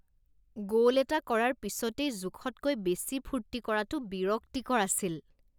গ'ল এটা কৰাৰ পিছতেই জোখতকৈ বেছি ফূৰ্তি কৰাটো বিৰক্তিকৰ আছিল